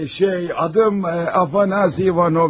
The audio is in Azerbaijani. Şey, adım A Ivanoviç.